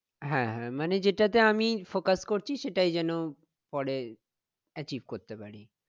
হ্যাঁ হ্যাঁ মানে যেটাতে আমি focus করছি সেটাই যেন পরে achieve করতে পারি